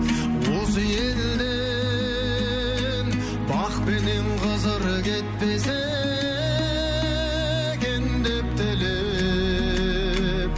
осы елден бақ пенен қызыр кетпесе екен деп тілеп